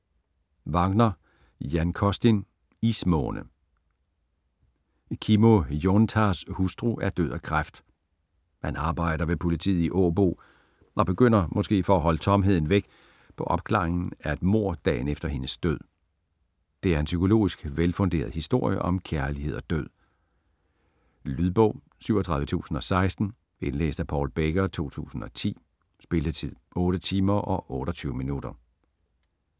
Wagner, Jan Costin: Ismåne Kimmo Joentaas hustru er død af kræft. Han arbejder ved politiet i Åbo, og begynder, måske for at holde tomheden væk, på opklaringen af et mord dagen efter hendes død. Det er en psykologisk velfunderet historie om kærlighed og død. Lydbog 37016 Indlæst af Paul Becker, 2010. Spilletid: 8 timer, 28 minutter.